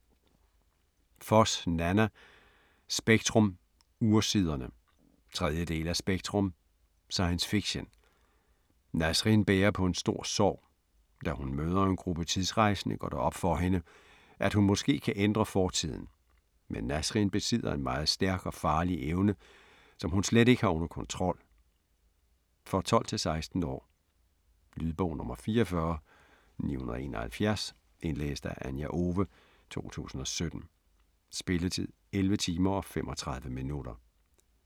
Foss, Nanna: Spektrum - Ursiderne 3. del af Spektrum. Science Fiction. Nasrin bærer på en stor sorg. Da hun møder en gruppe tidsrejsende går det op for hende, at hun måske kan ændre fortiden. Men Nasrin besidder en meget stærk og farlig evne, som hun slet ikke har under kontrol. For 12-16 år. Lydbog 44971 Indlæst af Anja Owe, 2017. Spilletid: 11 timer, 35 minutter.